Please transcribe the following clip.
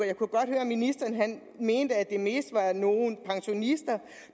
jeg kunne godt høre at ministeren mente at det mest var nogle pensionister